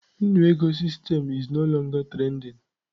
Nnu ego system is no longer trending.